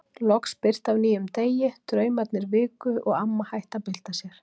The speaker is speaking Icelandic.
Loks birti af nýjum degi, draumarnir viku og amma hætti að bylta sér.